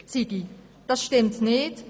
Das stimmt nicht: